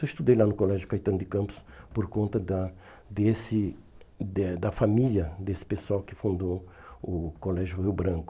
Eu estudei lá no colégio Caetano de Campos por conta da desse de a da família desse pessoal que fundou o colégio Rio Branco.